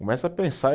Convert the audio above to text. Começa a pensar.